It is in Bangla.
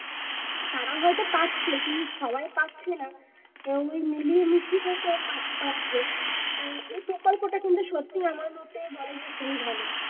তারাও হয় তো পাচ্ছে, কিন্তু সবাই পাচ্ছে না। ওই মিলিয়ে মিশিয়ে তোর পা পাচ্ছে তো এই প্রকল্পটা সত্যি আমার মতে বলে যে খুবই ভালো